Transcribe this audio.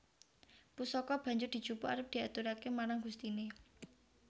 Pusaka banjur dijupuk arep diaturaké marang gustiné